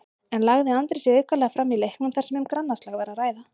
En lagði Andri sig aukalega fram í leiknum þar sem um grannaslag var að ræða?